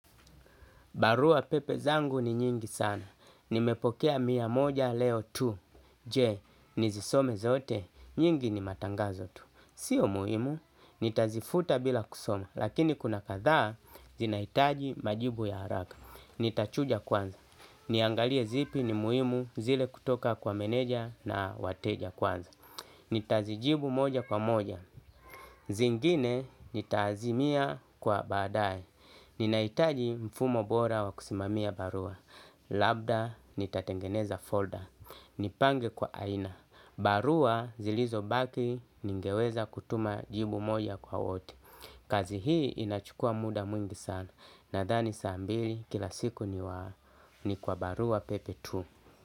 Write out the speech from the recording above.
Barua pepe zangu ni nyingi sana. Nimepokea mia moja leo tu. Je, nizisome zote? Nyingi ni matangazo tu. Sio muhimu. Nitazifuta bila kusoma. Lakini kuna kadhaa, zinahitaji majibu ya haraka. Nitachuja kwanza. Niangalie zipi ni muhimu zile kutoka kwa meneja na wateja kwanza. Nitazijibu moja kwa moja. Zingine, nitazimia kwa baadae. Na ninahitaji mfumo bora wa kusimamia barua. Labda nitatengeneza folder nipange kwa aina. Barua zilizobaki ningeweza kutuma jibu moja kwa wote. Kazi hii inachukua muda mwingi sana. Nadhani saa mbili kila siku ni waa ni kwa barua pepe tu.